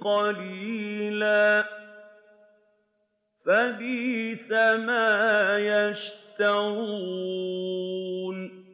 قَلِيلًا ۖ فَبِئْسَ مَا يَشْتَرُونَ